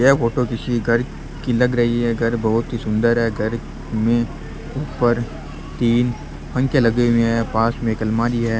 यह फोटो किसी घर की लग रही है घर बहुत ही सुन्दर है घर में ऊपर तीन पंखे लगे हुए है पास में एक अलमारी है।